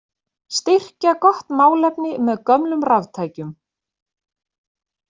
Styrkja gott málefni með gömlum raftækjum